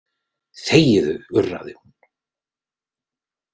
Þegiðu, urraði hún.